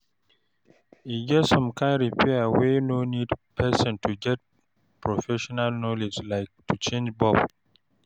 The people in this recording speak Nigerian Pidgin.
E get some kind repair wey no need person to get professional knowledge like to change bulb